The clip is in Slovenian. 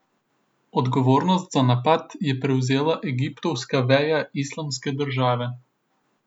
Odgovornost za napad je prevzela egiptovska veja Islamske države.